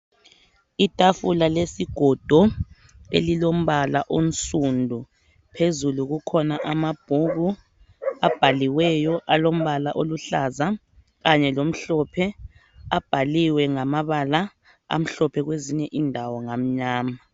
Itafula lesigodo elilombala onsundu phezulu kukhona amabhuku abhaliweyo alombala oluhlaza kanye lomhlophe. Ababhaliwe ngamabala amhlophe kwezinye indawo ngamnyama.